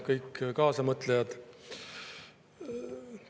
Kõik kaasamõtlejad!